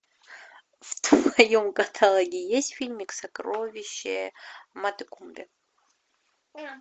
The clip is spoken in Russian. в твоем каталоге есть фильмик сокровище матекумбе